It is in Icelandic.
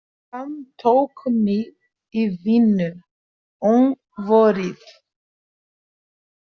Hann tók mig í vinnu um vorið.